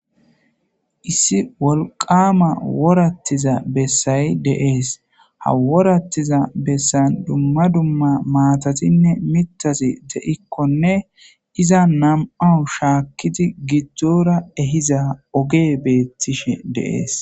issi wolqama worattiza bessay deees haworattiza bessan dumma dumma maatatinne mitasi de7ikkonne iza nam7aou shaakkiti giddora ehiza oge beettishe deees